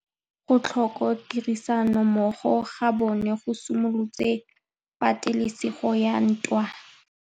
Go tlhoka tirsanommogo ga bone go simolotse patêlêsêgô ya ntwa.